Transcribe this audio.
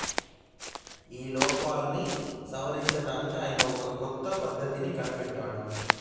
ఈ లోపాలని సవరించటానికి ఆయన ఒక కొత్త పద్ధతిని కనిపెట్టేడు